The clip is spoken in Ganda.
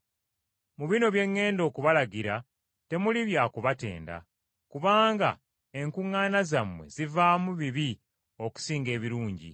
Mu bino bye ŋŋenda okubalagira temuli kya kubatenda, kubanga enkuŋŋaana zammwe zivaamu bibi okusinga ebirungi.